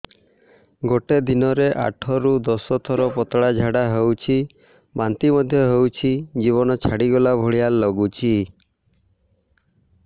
ଗୋଟେ ଦିନରେ ଆଠ ରୁ ଦଶ ଥର ପତଳା ଝାଡା ହେଉଛି ବାନ୍ତି ମଧ୍ୟ ହେଉଛି ଜୀବନ ଛାଡିଗଲା ଭଳି ଲଗୁଛି